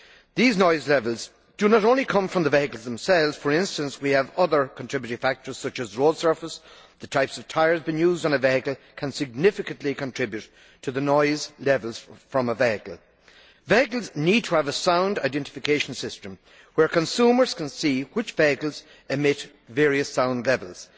These noise levels do not only come from the vehicles themselves. For instance we have other contributory factors such as road surface, and the type of tyres used on a vehicle can significantly contribute to the noise levels from a vehicle. Vehicles need to have a sound identification system where consumers can see which vehicles emit various sound levels.